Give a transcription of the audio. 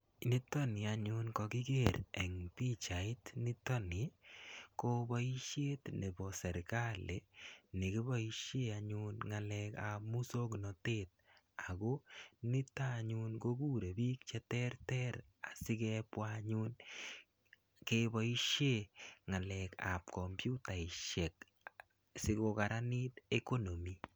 Nito